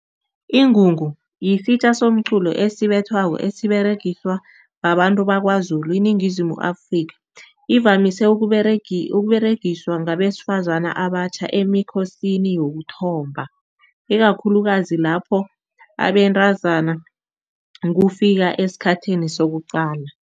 Ingungu yisitja somqulo esibethwako esiberegiswa babantu bakwaZulu iningizimu Afrika. Ivamise ukUberegiswa ngabebesifazani abatjha emikhosini yokuthomba, ikakhulukazi lapho abentazana kufika esikhathini sokuqala.